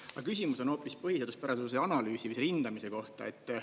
Aga küsimus on hoopis põhiseaduspärasuse analüüsi või selle hindamise kohta.